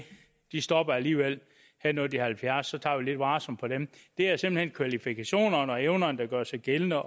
de stopper alligevel når de er halvfjerds så vi tager lidt varsomt på dem det er simpelt hen kvalifikationerne og evnerne der gør sig gældende